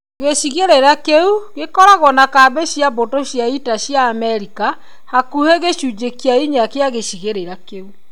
Gĩcigĩrĩra kĩu gĩkoragwo na kambĩ cia mbũtũ cia ita cia Amerika hakuhĩ gĩcunjĩ kĩa inya gĩa gĩcigĩrĩra kĩu.